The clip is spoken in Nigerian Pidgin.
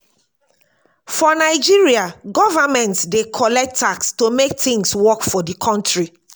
for nigeria government dey collect tax to make things work for di country